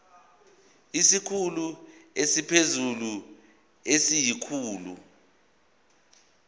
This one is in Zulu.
isikhulu esiphezulu siyisikhulu